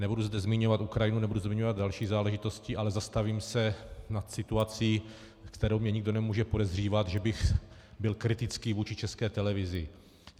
Nebudu zde zmiňovat Ukrajinu, nebudu zmiňovat další záležitosti, ale zastavím se nad situací, kterou mně nikdo nemůže podezřívat, že bych byl kritický vůči České televizi.